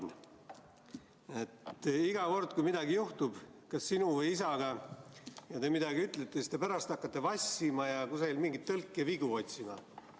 Martin, iga kord, kui midagi juhtub kas sinu või su isaga ja te midagi ütlete, siis te pärast hakkate vassima ja kusagil mingeid tõlkevigu otsima.